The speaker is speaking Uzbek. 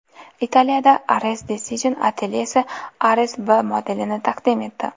Italiyada Ares Design atelyesi Ares B modelini taqdim etdi.